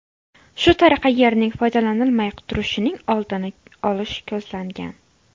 Shu tariqa yerning foydalanilmay turishining oldini olish ko‘zlangan.